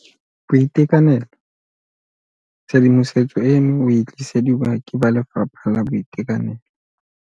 BOITEKANELO Tshedimosetso eno o e tlisediwa ke ba Lefapha la Boitekanelo.